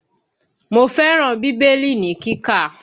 Mo fẹ́ràn Bíbélì ní kíkà